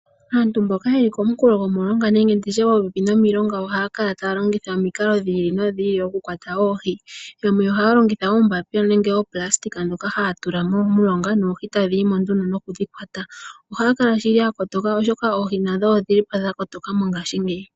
Aantu mboka ye li komunkulo gomulonga nenge ye li popepi nomilonga ohaya kala taya longitha omikalo dhi ili nodhi ili okukwata oohi. Yamwe ohaya longitha oombapila nenge oopulasitika ndhoka haya tula momulonga noohi tadhi yi mo nduno noku dhi kwata. Ohaya kala shili ya kotoka, oshoka noohi nadho odhi li po dha kotoka mongashingeyi.